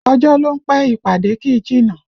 Ọjọ́ ló ń pẹ́, ìpàdé kì í jìnnà